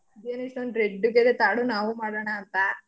ಇದೇನು ಇಷ್ಟೊಂದ್ red ಗಿದೆ ತಾಡು ನಾವು ಮಾಡನ ಅಂತಾ.